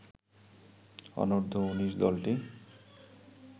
অনূর্ধ্ব ১৯ দলটির